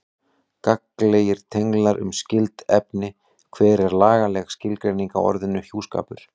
Gagnlegir tenglar um skyld efni Hver er lagaleg skilgreining á orðinu hjúskapur?